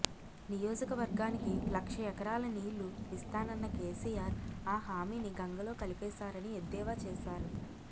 నియోజకవర్గానికి లక్ష ఎకరాల నీళ్లు ఇస్తానన్న కేసీఆర్ ఆ హామీని గంగలో కలిపేశారని ఎద్దేవా చేశారు